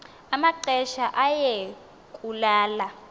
amaxesha aye kulala